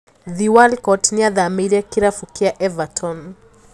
Theo Walcott niathamiire kirabu kia Everton.